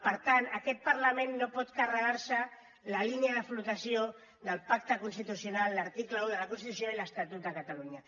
per tant aquest parlament no pot carregar se la línia de flotació del pacte constitucional l’article un de la constitució i l’estatut de catalunya